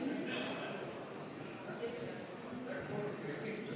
Kohtumiseni homme kell 13.